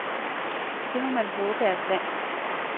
Det må man håbe er sandt.